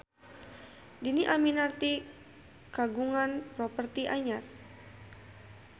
Dhini Aminarti kagungan properti anyar